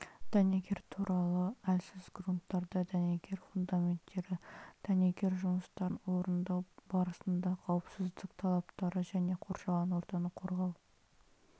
дәнекер түрлері әлсіз грунттарда дәнекер фундаменттері дәнекер жұмыстарын орындау барысында қауіпсіздік талаптары және қоршаған ортаны қорғау